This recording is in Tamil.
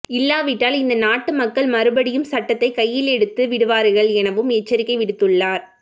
இல்லாவிட்டால் இந்த நாட்டு மக்கள் மறுமடியும் சட்டத்தைக் கையிலெடுத்து விடுவார்கள் எனவும் எச்சரிக்கை விடுத்துள்ளார்